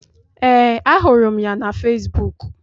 Ee, ahụrụ m ya na fesbụụk.